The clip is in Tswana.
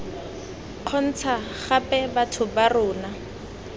kgontsha gape batho ba rona